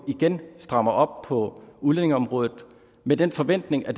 igen strammer op på udlændingeområdet med den forventning at